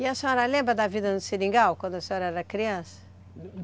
E a senhora lembra da vida no Seringal, quando a senhora era criança?